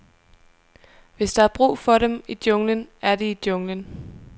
Hvis der er brug for dem i junglen, er de i junglen.